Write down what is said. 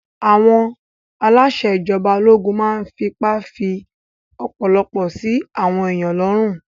Àwọn aláṣẹ ìjọba ológun máa n fipá fí ọ̀pọ̀lọpọ̀ sí àwọn èèyàn lọ́rùn